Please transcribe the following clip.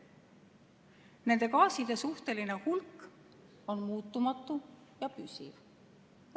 Nende gaaside suhteline hulk on muutumatu ja püsiv.